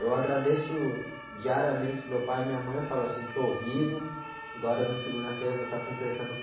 Eu agradeço diariamente, meu pai e minha mãe falo assim, estou vivo, agora na segunda-feira vou estar completando